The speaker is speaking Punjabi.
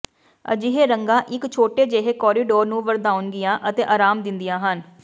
ਅਜਿਹੇ ਰੰਗਾਂ ਇਕ ਛੋਟੇ ਜਿਹੇ ਕੋਰੀਡੋਰ ਨੂੰ ਵਧਾਉਣਗੀਆਂ ਅਤੇ ਆਰਾਮ ਦਿੰਦੀਆਂ ਹਨ